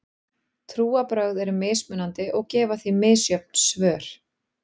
Trúarbrögð eru mismunandi og gefa því misjöfn svör.